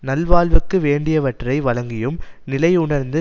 நல்வாழ்வுக்கு வேண்டியவற்றை வழங்கியும் நிலையுணர்ந்து